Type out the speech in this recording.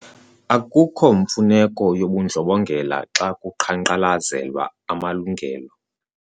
Akukho mfuneko yobundlobongela xa kuqhankqalazelwa amalungelo.